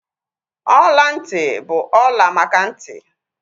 Ọla ntị bụ ọla maka ntị